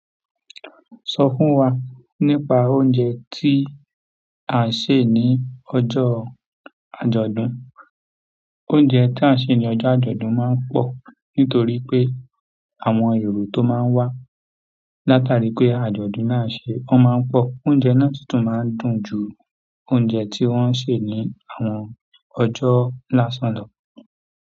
Sọ fún wa nípa oúnjẹ tí a ń sè ní ọjọ́ àjọ̀dún. Oúnjẹ tí a ń sè ní ojọ́ àjọ̀dún màa ń pọ̀, nítorí pé àwọn èrò tó màa ń wá, látàrí wípé àjọ̀dún náà ṣe, wọ́n máa ń pọ̀. Oúnjẹ náà sì tún máa ń dùn ju oúnjẹ tí wọ́n ń sè ní àwọn ọjọ́ lásán lọ.